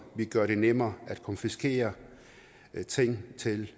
vi gør det nemmere at konfiskere ting til